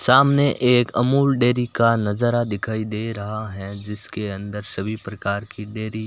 सामने एक अमूल डेयरी का नजारा दिखाई दे रहा है जिसके अंदर सभी प्रकार की डेयरी --